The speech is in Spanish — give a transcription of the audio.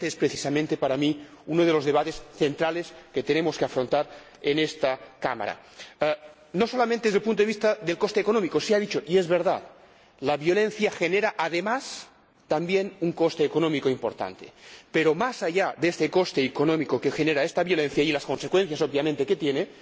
Y este es precisamente, para mí, uno de los debates centrales que tenemos que afrontar en esta Cámara, no solamente desde el punto de vista del coste económico. Se ha dicho, y es verdad, que la violencia genera, además, un coste económico importante, pero, más allá de este coste económico que genera esta violencia y de las consecuencias que obviamente tiene,